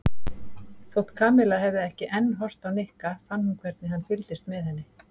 Þótt Kamilla hefði ekki enn horft á Nikka fann hún hvernig hann fylgdist með henni.